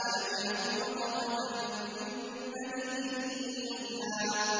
أَلَمْ يَكُ نُطْفَةً مِّن مَّنِيٍّ يُمْنَىٰ